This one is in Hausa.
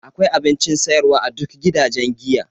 Akwai abincin siyarwa a duk gidajen giya.